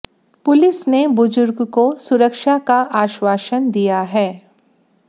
police ने बुजुर्ग को सुरक्षा का आश्वासन दिया है